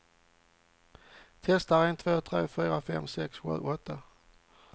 Testar en två tre fyra fem sex sju åtta.